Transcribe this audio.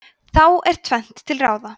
þá er tvennt til ráða